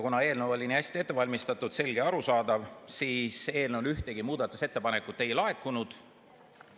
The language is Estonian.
Kuna eelnõu oli nii hästi ette valmistatud, selge ja arusaadav, siis selle kohta ühtegi muudatusettepanekut ei laekunud.